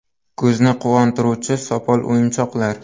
Ko‘zni quvontiruvchi sopol o‘yinchoqlar.